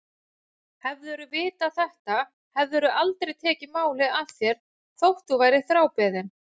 Hefðirðu vitað þetta hefðirðu aldrei tekið málið að þér þótt þú værir þrábeðinn.